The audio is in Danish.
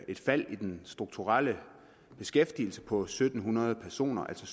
et fald i den strukturelle beskæftigelse på syv hundrede personer altså